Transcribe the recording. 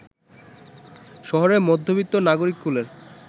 শহুরে মধ্যবিত্ত নাগরিককুল